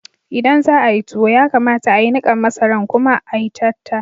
Idan za'ayi tuwo, ya kamata a'yi nikan masaran kuma a'yi tatta.